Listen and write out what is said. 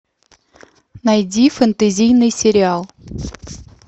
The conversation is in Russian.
найди фэнтезийный сериал